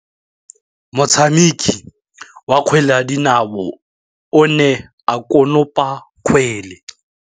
Motshameki wa kgwele ya dinaô o ne a konopa kgwele.